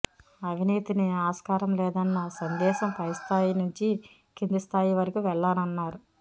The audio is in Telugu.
అవినీతిని ఆస్కారం లేదన్న సందేశం పైస్థాయి నుంచి కిందిస్థాయి వరకు వెళ్లాలన్నారు